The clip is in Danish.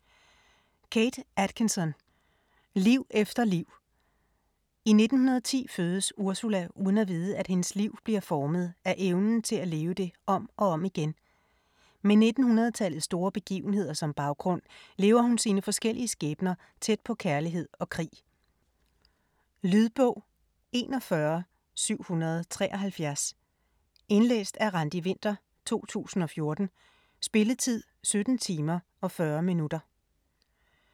Atkinson, Kate: Liv efter liv I 1910 fødes Ursula uden at vide, at hendes liv bliver formet af evnen til at leve det om og om igen. Med 1900-tallets store begivenheder som baggrund, lever hun sine forskellige skæbner tæt på kærlighed og krig. Lydbog 41773 Indlæst af Randi Winther, 2014. Spilletid: 17 timer, 40 minutter.